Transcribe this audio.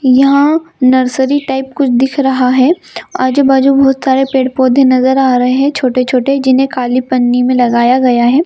यहाँ nursery type दिख रहा है आजू-बाजू बहुत सारे पेड़-पोधे नजर अ रहे हैं छोटे-छोटे जिन्हे काली पन्नी में लगया गया है।